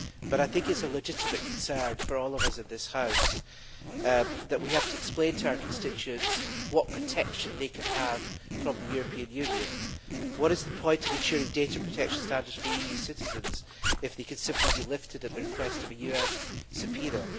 I think it is a legitimate concern for all of us in this House that we have to explain to our constituents what protection they can have from the European Union. What is the point of ensuring data protection standards for EU citizens if they can simply be lifted at the request of a US subpoena?